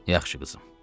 Yaxşı, qızım.